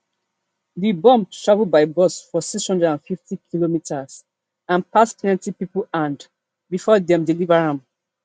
di bomb travel by bus for six hundred and fiftykm and pass plenti pipo hand bifor dem deliver am